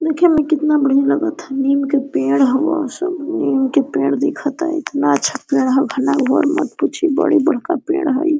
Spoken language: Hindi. देखे मै कितना बढ़िया लगत है नीम का पेड़ हवा उस नीम का पेड़ दिखत है इतना अच्छा पेड़ है घना घोर मत पूछी बड़ी बड़का पेड़ हओ।